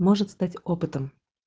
может стать опытом